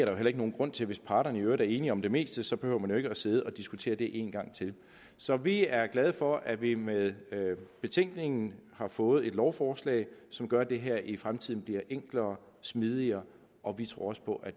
jo heller ikke nogen grund til hvis parterne i øvrigt er enige om det meste så behøver man jo ikke at sidde og diskutere det en gang til så vi er glade for at vi med betænkningen har fået et lovforslag som gør at det her i fremtiden bliver enklere og smidigere og vi tror også på at